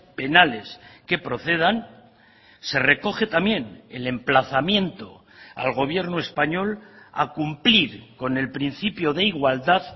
penales que procedan se recoge también el emplazamiento al gobierno español a cumplir con el principio de igualdad